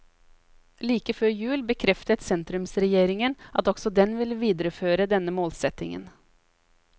Like før jul bekreftet sentrumsregjeringen at også den vil videreføre denne målsetningen.